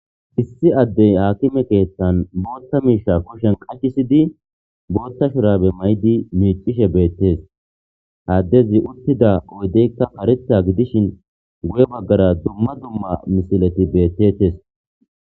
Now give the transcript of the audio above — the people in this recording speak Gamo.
Issi adde akime keethan booththa miishsha kushiyan qashisidi booththa shurabe mayidi beetishe beetees. Ha addezi uttida oydekka kareththa gidishin guye bagara dumma dumma misileti beetetees.